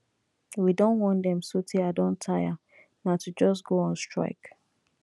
we don warn dem so tey i don tire na to just go on strike